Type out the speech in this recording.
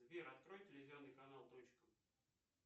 сбер открой телевизионный канал точка